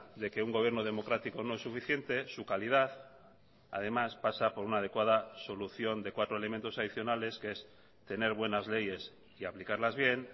de que un gobierno democrático no es suficiente su calidad además pasa por una adecuada solución de cuatro elementos adicionales que es tener buenas leyes y aplicarlas bien